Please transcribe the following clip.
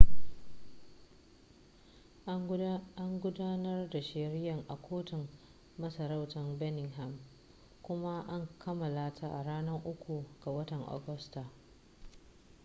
an gudanar da shari'ar a kotun masarautar birmingham kuma an kammala ta a ranar 3 ga watan agusta